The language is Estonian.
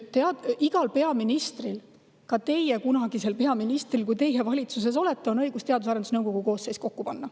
Igal peaministril, ka teie peaministril, kui te kunagi valitsuses olete, on õigus Teadus- ja Arendusnõukogu koosseis kokku panna.